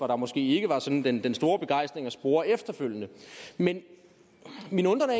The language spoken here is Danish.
der måske ikke var sådan den store begejstring at spore efterfølgende men min undren